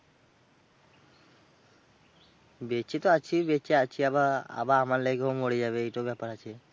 বেঁচে তো আছি, বেঁচে আছি আবার। আবা আমার লেগেও মরে যাবে এইটাও ব্যাপার আছে।